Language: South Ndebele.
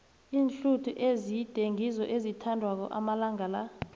iinhluthu ezide ngizo ezithandwako amalanga la